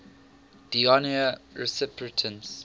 d honneur recipients